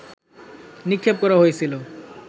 নিক্ষেপ করা হয়েছিল